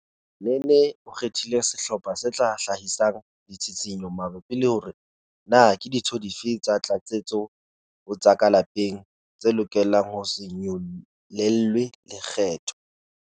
Nene o kgethile sehlopha se tla hlahisang ditshitshinyo mabapi le hore na ke dintho dife tsa tlatsetso ho tsa ka lapeng tse lokelang ho se nyollelwe lekgetho.